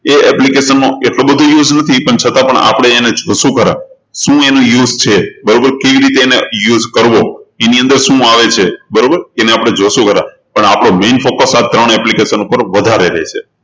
એ application નો એટલો બધો use નથી છતાં આપણે એને જોશું ખરા શું એનું use છે બરોબર કેવી રીતે એનો use કરવો એની અંદર શું આવે છે બરોબર એને આપણે જોશું ખરા પણ આપણો main focus આ ત્રણ application પર વધારે રહેશે